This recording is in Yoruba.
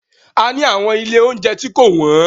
A ni àwọn ilé óunjẹ tí kò wọ́n.